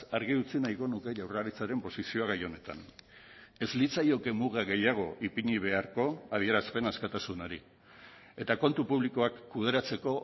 argi utzi nahiko nuke jaurlaritzaren posizioa gai honetan ez litzaioke muga gehiago ipini beharko adierazpen askatasunari eta kontu publikoak kudeatzeko